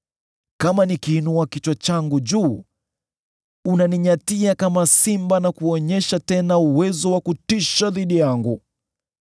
Kama nikiinua kichwa changu juu, unaninyatia kama simba, na kuonyesha tena uwezo wa kutisha dhidi yangu.